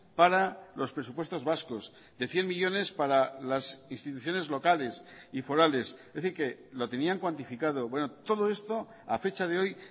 para los presupuestos vascos de cien millónes para las instituciones locales y forales es decir que lo tenían cuantificado todo esto a fecha de hoy